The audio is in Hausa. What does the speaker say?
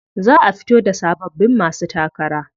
Za a fito da sababbin masu takara.